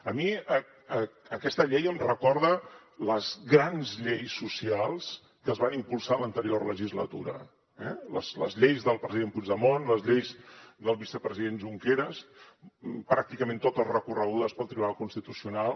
a mi aquesta llei em recorda les grans lleis socials que es van impulsar a l’anterior legislatura les lleis del president puigdemont les lleis del vicepresident junqueras pràcticament totes recorregudes pel tribunal constitucional